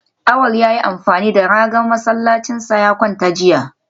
Awal ya yi amfani da ragar masallacinsa ya kwanta jiya